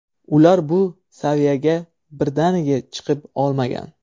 Ular bu saviyaga birdaniga chiqib olmagan.